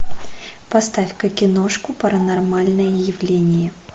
поставь ка киношку паранормальное явление